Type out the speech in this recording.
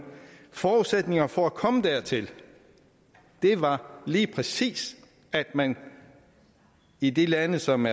forudsætningerne for at komme dertil var lige præcis at man i de lande som